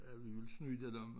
At vi ville snyde dem